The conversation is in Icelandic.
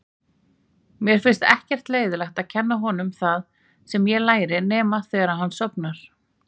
Mér finnst ekkert leiðinlegt að kenna honum það sem ég læri nema þegar hann sofnar.